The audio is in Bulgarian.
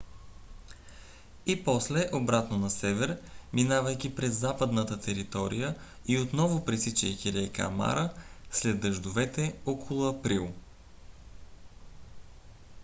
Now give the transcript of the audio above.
и после обратно на север минавайки през западната територия и отново пресичайки река мара след дъждовете около април